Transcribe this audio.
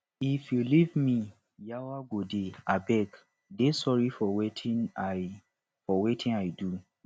if you leave me yawa go dey abeg i dey sorry for wetin i for wetin i do